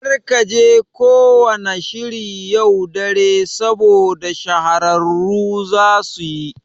Kar kaje ko wanna shiri yau dare saboda shahararru zasuyi